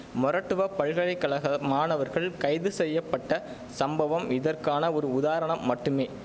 மொறட்டுவப் பல்கலை கழக மாணவர்கள் கைது செய்ய பட்ட சம்பவம் இதற்கான ஒரு உதாரணம் மட்டுமே